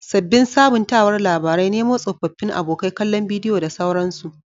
Sabbin sabuntawar labarai, Nemo tsofaffin abokai, kallon bidiyo da sauransu.